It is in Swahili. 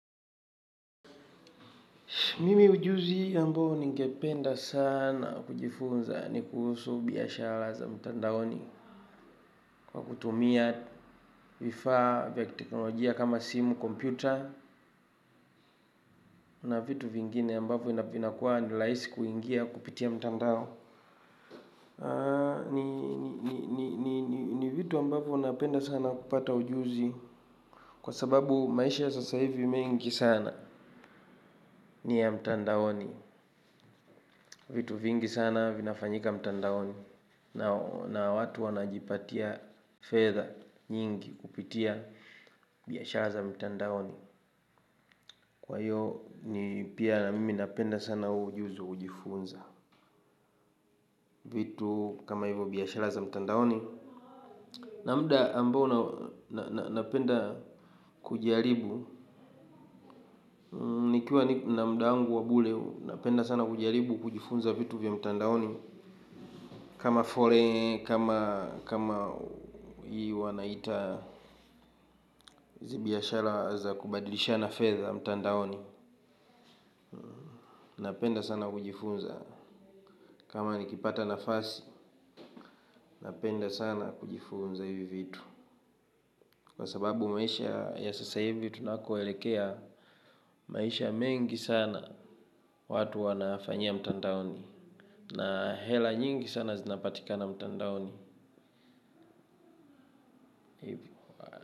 Mimi ujuzi ambao ningependa sana kujifunza ni kuhusu biashara za mtandaoni kwa kutumia vifaa vya kiteknolojia kama simu, kompyuta na vitu vingine ambavyo vinakuwa ni rahisi kuingia kupitia mtandao ni vitu ambavyo napenda sana kupata ujuzi kwa sababu maisha ya sasa hivi mengi sana ni ya mtandaoni vitu vingi sana vinafanyika mtandaoni na watu wanajipatia fedha nyingi kupitia biashara za mtandaoni, kwa hivyo pia na mimi hupenda sana huu ujizi wa kujifunza vitu kama vile biashara za mtandaoni. Na muda ambao napenda kujaribu, nikiwa na muda wangu wa bure napenda sana kujaribu kujifunza vitu vya mtandaoni. Kama forex, kama hii wanaita hizi biashara za kubadilishana fedha mtandaoni. Napenda sana kujifunza kama nikipata nafasi, napenda sana kujifunza hivyo vitu, kwa sababu maisha ya sasa hivyo tunakoelekea maisha mengi sana watu wanafanyia mtandaoni, na hela nyingi sana zinapatika mtandaoni.